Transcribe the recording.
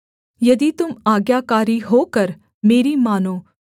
यदि तुम आज्ञाकारी होकर मेरी मानो